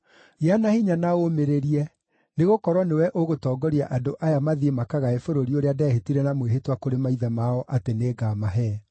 “Gĩa na hinya na ũũmĩrĩrie, nĩgũkorwo nĩwe ũgũtongoria andũ aya mathiĩ makagae bũrũri ũrĩa ndehĩtire na mwĩhĩtwa kũrĩ maithe mao atĩ nĩngamahe.